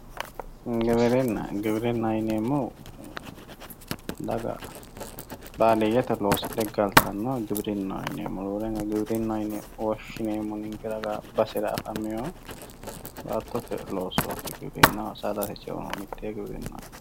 giwirinna giwirinnaho yineemmohu daga baadiyete loosidhe galtannoha giwirinnaho yineemmo roorenka giwirinnaho yine woshshineemmohu roorenka ninke ragaaanni baattote loosooti saadate ceono mittee giwirinnaho